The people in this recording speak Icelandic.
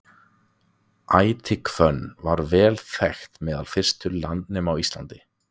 Ætihvönnin var vel þekkt meðal fyrstu landnema á Íslandi.